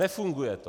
Nefunguje to.